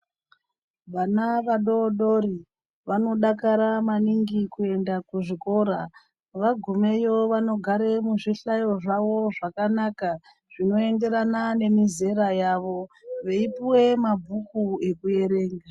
Vana vadodori vanodakara maningi kuenda kuzvikora vagumeyo vanogara muzvihlayo zvawo zvakanaka zvinoenderana nemizera yawo veipuwe mabhuku ekuverenga.